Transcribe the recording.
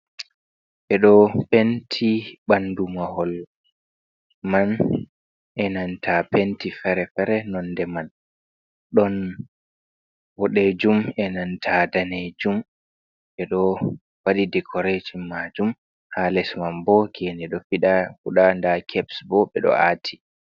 Ɓe do penti ɓandu mahol man, e nanta penti fere-fere nonde man ɗon woɗe jum, e nanta dane jum, ɓe ɗo wadi dekoretin majum ha les man bo gene ɗo fiɗa fuɗa da keps bo ɓe ɗo ati.